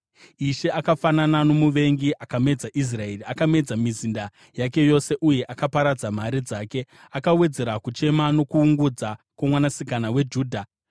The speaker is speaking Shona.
Ishe akafanana nomuvengi; akamedza Israeri. Akamedza mizinda yake yose uye akaparadza mhare dzake. Akawedzera kuungudza nokuchema kwoMwanasikana weJudha.